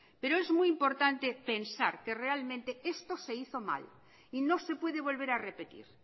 pero es muy importante pensar que realmente esto se hizo mal y no se puede volver a repetir